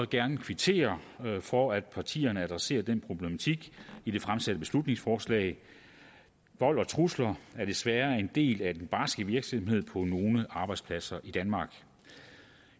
gerne kvittere for at partierne adresserer den problematik i det fremsatte beslutningsforslag vold og trusler er desværre en del af den barske virkelighed på nogle arbejdspladser i danmark